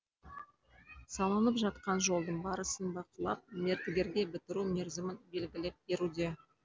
салынып жатқан жолдың барысын бақылап мердігерге бітіру мерзімін белгілеп беруде